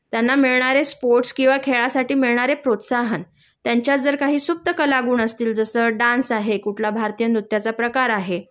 त्यांना मिळणारे स्पोर्ट्स किंवा खेळासाठी मिळणारे प्रोत्साहन.त्यांच्यात जर काही सुप्त कलागुण असतील जसं डान्स आहे कुठला भारतीय नृत्याचा प्रकार आहे